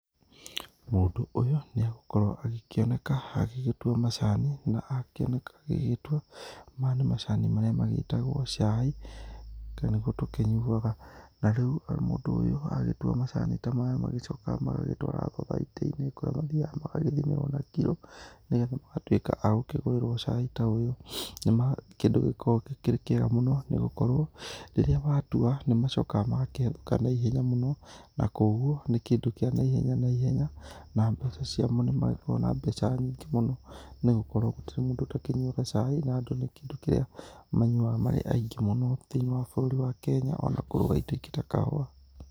Mũndũ ũyũ nĩ egũkorwo agĩkĩoneka agĩgĩtua macani na akĩoneka agĩgĩtua maya nĩ macani marĩa magĩtagwo caĩ, nĩguo tũkĩnyuwaga na rĩu mũndũ ũyũ agĩtua macani ta maya magĩcokaga magagĩtwara thũthaitĩ-inĩ kũrĩa macokaga magagĩthimĩrwo na kĩro nĩgetha magatuĩka agũkĩgũrĩrwo caĩ ta ũyũ. Nĩ ma kĩndũ gĩkoragwo kĩrĩkĩega mũno nĩ gũkorwo rĩrĩa watua nĩ macokaga magakĩendeka naihenya mũno na koguo nĩ kĩndũ kĩa naihenya naihenya. Na mbeca cĩamo nĩ magĩkoragwo na mbeca nyingĩ mũno nĩgũkorwo gũtirĩ mũndũ ũtakĩnyuwaga caĩ na nĩ kĩndũ kĩrĩa manyuwaga marĩ aingĩ mũno thĩinĩ wa bũrũri wa Kenya ona kũgũra ĩndo ĩngĩ ta kahũwa.